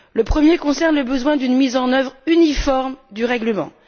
Le premier a trait au besoin d'une mise en œuvre uniforme du règlement.